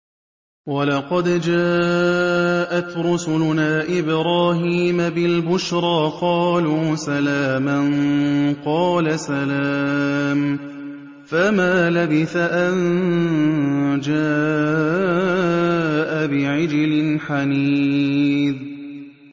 وَلَقَدْ جَاءَتْ رُسُلُنَا إِبْرَاهِيمَ بِالْبُشْرَىٰ قَالُوا سَلَامًا ۖ قَالَ سَلَامٌ ۖ فَمَا لَبِثَ أَن جَاءَ بِعِجْلٍ حَنِيذٍ